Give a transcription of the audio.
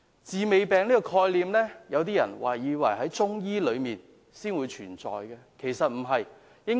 "治未病"這概念，有些人可能以為中醫學才會有，其實不然。